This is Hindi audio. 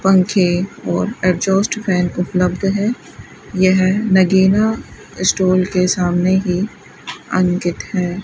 पंखे और एग्जॉस्ट फैन उपलब्ध है यह नगीना स्टॉल के सामने ही अंकित है।